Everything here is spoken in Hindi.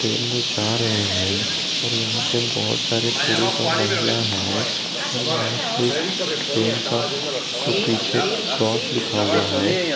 ट्रेन में जा रहे है और यहां पे बहोत सारे पुरुष और महिला हैं और यहां पे एक ट्रेन का पीछे क्रॉस लिखा हुआ है।